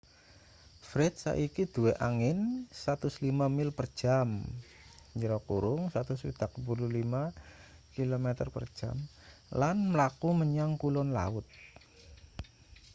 fred saiki duwe angin 105 mil per jam 165 km/j lan mlaku menyang kulon laut